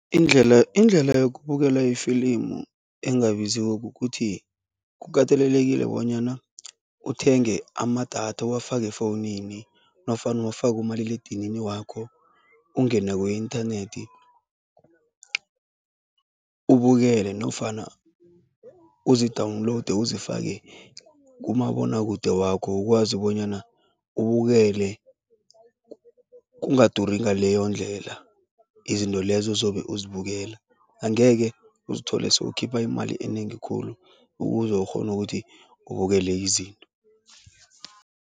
Indlela indlela yokubukela ifilimu engabiziko kukuthi kukatelelekile bonyana uthenge amadatha, uwafake efowunini nofana uwafake kumaliledinini wakho, ungene ku-inthanethi ubukele nofana uzi-download uzifake kumabonwakude wakho ukwazi bonyana ubukele kungaduri ngaleyondlela izinto lezo ozobe uzibukela. Angeke uzithole sowukhipha imali enengi khulu ukuze ukghone ukuthi ubukele izinto.